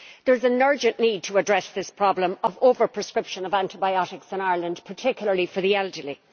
There is an urgent need to address this problem of over prescription of antibiotics in Ireland, particularly for the elderly.